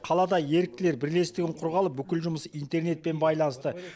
қалада еріктілер бірлестігін құрғалы бүкіл жұмысы интернетпен байланысты